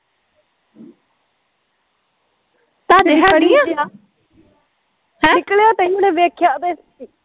ਆਹ ਨਿੱਕਲਿਆ ਤੇ ਹੁਣ ਦੇਖਿਆ ਤੇ